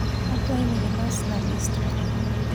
akwai ni ilos na list manyien